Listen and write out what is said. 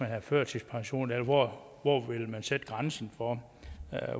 have førtidspension eller hvor vil man sætte grænsen for